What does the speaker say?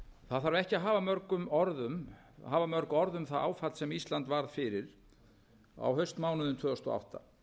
það þarf ekki að hafa mörg orð um það áfall sem ísland varð fyrir á haustmánuðum tvö þúsund og átta